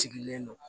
Sigilen don